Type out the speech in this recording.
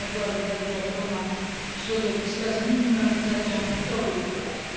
Ważna byłaby także ochrona środowiska z minimalizacją fetoru i hałasu.